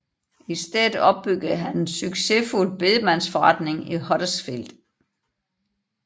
I stedet opbyggede han en succesfuld bedemandsforretning i Huddersfield